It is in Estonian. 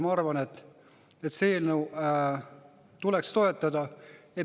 Ma arvan, et seda eelnõu tuleks toetada.